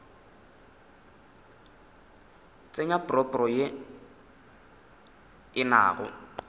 tsenya propo ye e nago